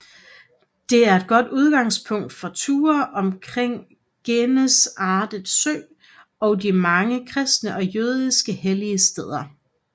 Det er et godt udgangspunkt for ture omkring Genesaret Sø og de mange kristne og jødiske hellige steder